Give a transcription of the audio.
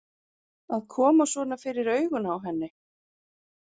Að koma svona fyrir augun á henni.